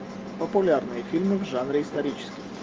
популярные фильмы в жанре исторический